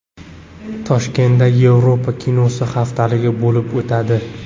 Toshkentda Yevropa kinosi haftaligi bo‘lib o‘tadi.